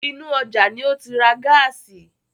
Inú ọjá ní ó ti ra gáàsì.